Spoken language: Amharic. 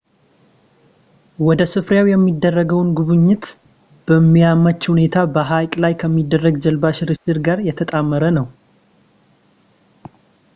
ወደ ስፍራው የሚደረገውን ጉብኝት በሚያመች ሁኔታ በሀይቅ ላይ ከሚደረግ የጀልባ ሽርሽር ጋር የተጣመረ ነው